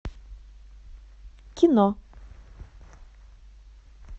кино